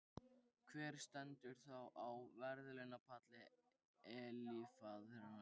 Hver stendur þá á verðlaunapalli eilífðarinnar?